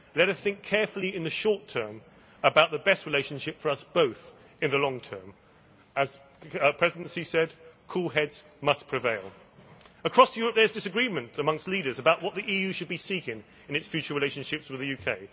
Let us think carefully in the short term about the best relationship for us both in the long term. As the Presidency said, cool heads must prevail. Across Europe there is disagreement amongst leaders about what the EU should be seeking in its future relationships with the UK.